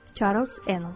Çarlz Enol.